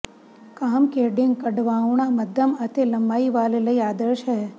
cascading ਕਢਵਾਉਣਾ ਮੱਧਮ ਅਤੇ ਲੰਮਾਈ ਵਾਲ ਲਈ ਆਦਰਸ਼ ਹੈ